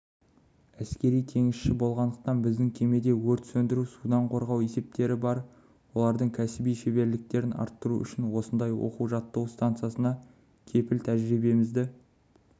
әскери теңізші болғандықтан біздің кемеде өрт сөндіру судан қорғау есептері бар олардың кәсіби шеберліктерін арттыру үшін осындай оқу-жаттығу стансасына келіп тәжірибемізді